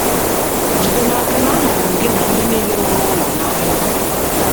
Jide n’aka na ahụrụ m gị na ndị nile nọ n’ụlọ n’anya.